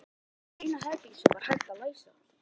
Heima var baðherbergið eina herbergið sem hægt var að læsa.